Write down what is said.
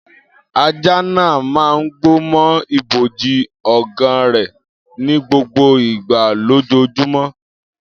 Ajá náà máa ń gbó mọ́ ibojì ọ̀gá rẹ̀ ní gbogbo ìgbà lójoojúmọ́.